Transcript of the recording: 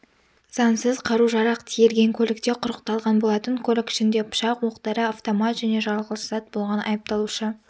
заңсыз қару-жарақ тиелген көлікте құрықталған болатын көлік ішінде пышық оқ дәрі автомат және жарылғыш зат болған айыпталушы